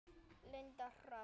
Linda Hrönn.